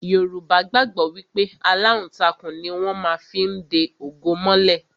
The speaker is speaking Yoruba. Yorùbá gbàgbọ́ wípé aláǹtakùn ni wón má fí ń de ògo mọ́lẹ̀